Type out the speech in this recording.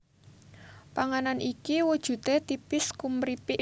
Panganan iki wujudé tipis kumripik